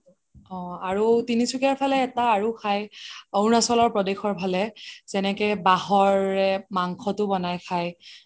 অহ আৰু তিনিচুকীয়া ফালে এটা আৰু খাই অৰুণাচল প্ৰদেশৰ ফালে যেনেকে বাহৰে মাংসটো বনাই খাই